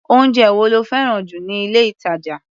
Oúnjẹ wo lo fẹ́ràn jù ní ilé-ìtàjà?